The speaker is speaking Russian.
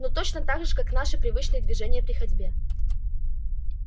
ну точно так же как наши привычные движения при ходьбе